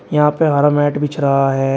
यहां पे हरा मैट बिछ रहा है।